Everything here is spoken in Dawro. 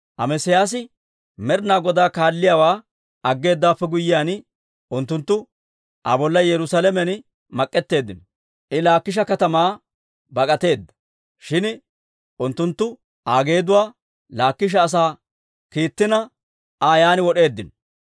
Amesiyaasi Med'inaa Godaa kaalliyaawaa aggeedawaappe guyyiyaan, unttunttu Aa bolla Yerusaalamen mak'etteeddino. I Laakisha katamaa bak'ateedda. Shin unttunttu Aa geeduwaa Laakisha asaa kiittina, Aa yaan wod'eeddino.